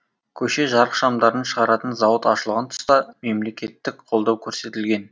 көше жарықшамдарын шығаратын зауыт ашылған тұста мемлекеттік қолдау көрсетілген